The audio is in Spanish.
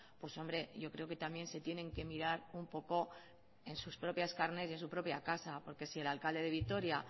pues hombre yo creo que también se tienen que mirar un poco en sus propias carnes y en su propia casa porque si el alcalde de vitoria